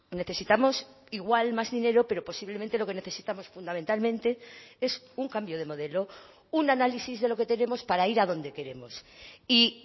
necesitamos igual más dinero pero posiblemente lo que necesitamos fundamentalmente es un cambio de modelo un análisis de lo que tenemos para ir a donde queremos y